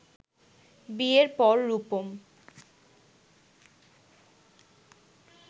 বিয়ের পর রুপম